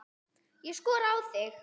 Ég skora á þig!